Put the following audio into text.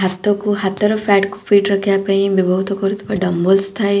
ହାତକୁ ହାତର ଫ୍ୟାଟ୍ କୁ ଫିଟ୍ ରଖିଆ ପାଇଁ ବ୍ୟବହୃତ କରୁଥିବା ଡମ୍ବଲସ୍ ଥାଏ।